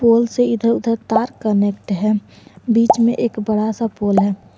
पोल से इधर उधर तार कनेक्ट है बीच में एक बड़ा सा पोल है।